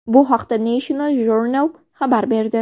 Bu haqda National Journal xabar berdi .